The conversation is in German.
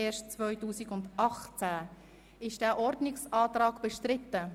Wird dieser Ordnungsantrag bestritten?